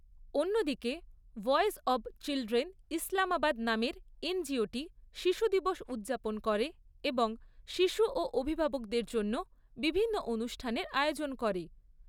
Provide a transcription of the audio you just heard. অন্যদিকে, voice of children Islamabad নামের এনজিওটি শিশু দিবস উদযাপন করে এবং শিশু ও অভিভাবকদের জন্য বিভিন্ন অনুষ্ঠানের আয়োজন করে।